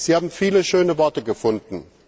Sie haben viele schöne Worte gefunden.